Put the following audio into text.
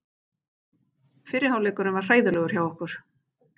Fyrri hálfleikurinn var hræðilegur hjá okkur.